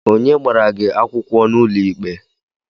Onye gbara gi akwụkwọ n'ụlọikpe?